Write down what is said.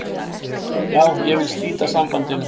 Já, ég vil slíta sambandinu.